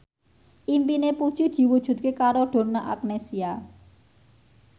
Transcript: impine Puji diwujudke karo Donna Agnesia